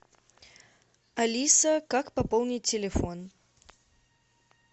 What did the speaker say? алиса как пополнить телефон